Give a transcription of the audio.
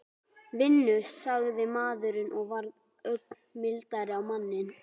Vinnu? sagði maðurinn og varð ögn mildari á manninn.